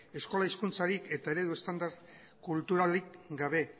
eskola hezkuntzarik eta eredu estandar kulturalik gabe